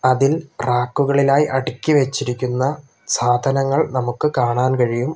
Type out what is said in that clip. അതിൽ റാക്കുകളിലായി അടുക്കി വെച്ചിരിക്കുന്ന സാധനങ്ങൾ നമുക്ക് കാണാൻ കഴിയും.